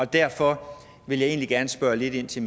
derfor vil jeg egentlig gerne spørge lidt ind til